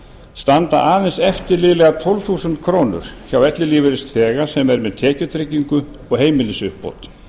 standa aðeins eftir liðlega tólf þúsund krónur hjá ellilífeyrisþega sem er með tekjutryggingu og heimilisuppbót